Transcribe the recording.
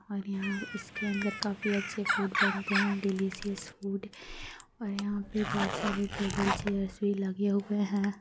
और यहाँ इसके अंदर काफी अच्छे फूड बनते हैं डिलिशस फूड और यहाँ पे बहुत सारे टेबल चेयर्स भी लगे हुए है।